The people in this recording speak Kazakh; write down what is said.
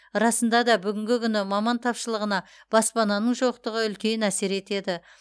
расында да бүгінгі күні маман тапшылығына баспананың жоқтығы үлкен әсер етеді